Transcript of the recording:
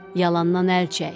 Yalandan əl çək!